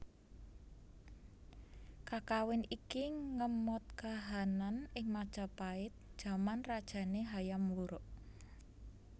Kakawin iki ngemot kahanan ing Majapahit jaman rajane Hayam Wuruk